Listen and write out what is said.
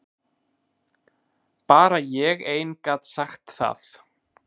Bara ég ein gat sagt það.